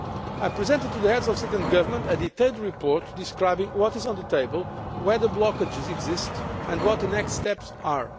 I presented to the Heads of State and Government a detailed report describing what is on the table, where the blockages exist, and what the next steps are.